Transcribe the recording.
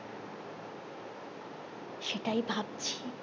সেটাই ভাবছি